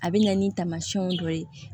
A bɛ na ni taamasiyɛnw dɔ ye